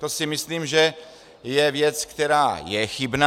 To si myslím, že je věc, která je chybná.